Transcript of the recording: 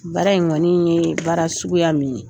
Baara in kɔni ye baara suguya min ye